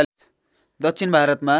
दक्षिण भारतमा